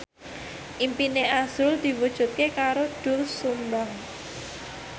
impine azrul diwujudke karo Doel Sumbang